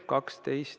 Küsimusi ma ei näe.